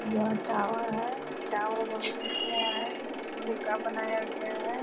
यह टावर है। टावर बहुत अच्छा है लोहे का बनाया गया है।